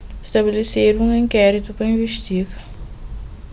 stabelesedu un inkéritu pa investiga